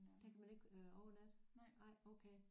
Der kan man ikke øh overnatte nej okay